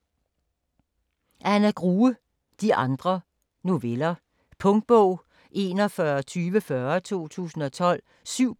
Grue, Anna: De andre: noveller Punktbog 412040 2012. 7 bind.